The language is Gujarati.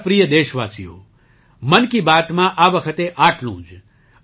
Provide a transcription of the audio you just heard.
મારા પ્રિય દેશવાસીઓ મન કી બાતમાં આ વખતે આટલું જ